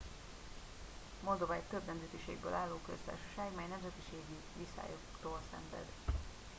moldova egy több nemzetiségből álló köztársaság mely nemzetiségi viszályoktól szenved